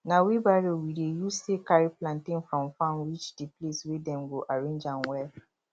na wheelbarrow we dey use take carry plantain from farm reach the place wey dem go arrange am well